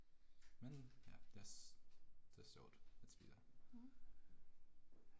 Men ja, det sjovt at spille